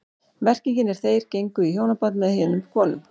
Merkingin er þeir gengu í hjónaband með heiðnum konum.